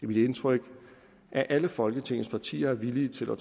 mit indtryk at alle folketingets partier er villige til at